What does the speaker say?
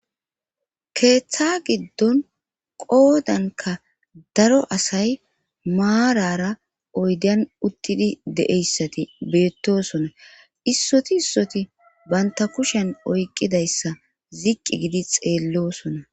keeththa giddon qoodanka daro asay maarara oydan uttidi deeyssati beettosona issoti issoti banta kushen oyqidayssa ziqqi gidi xeellosona